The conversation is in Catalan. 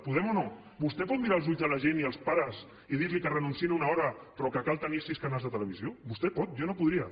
podem o no vostè pot mirar als ulls de la gent i als pares i dir los que renunciïn a una hora però que cal tenir sis canals de televisió vostè pot jo no podria